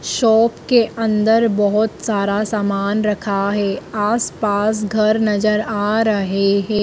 Shop के अंदर बहुत सारा सामान रखा है आसपास घर नजर आ रहे हैं।